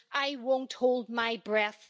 I won't hold my breath.